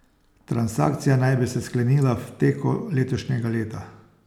Transakcija naj bi se sklenila v teku letošnjega leta.